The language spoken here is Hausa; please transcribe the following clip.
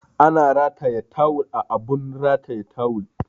Ana rataya tawul a abun ratayan tawul